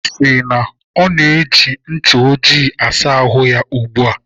Ọ sị na ọ ji ncha ojii asa ahụ ya ugbu a.